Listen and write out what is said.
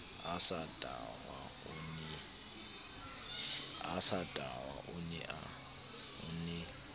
a sa tahwa o ne